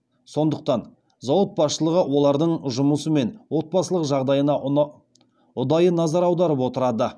сондықтан зауыт басшылығы олардың жұмысы мен отбасылық жағдайына ұдайы назар аударып отырады